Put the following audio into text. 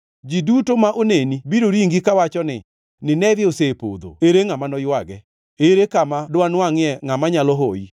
Ji duto ma oneni biro ringi kawacho ni, ‘Nineve osepodho ere ngʼama noywage?’ Ere kama danwangʼie ngʼama nyalo hoyi?”